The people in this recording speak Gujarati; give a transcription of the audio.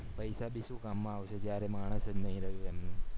પૈસા ભી શું કામ માં આવશે જયારે માણસ નય રહીયુ એમનું